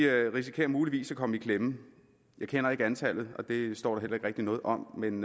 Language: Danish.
risikerer muligvis at komme i klemme jeg kender ikke antallet og det står der rigtig noget om men